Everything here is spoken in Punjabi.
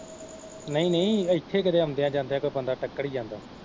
ਨਹੀਂ ਨਹੀਂ ਇੱਥੇੇ ਕਦੇ ਆਉਂਦਿਆ ਜਾਂਦਿਆ ਕੋਈ ਬੰਦਾ ਟੱਕਰ ਹੀ ਜਾਂਦਾ।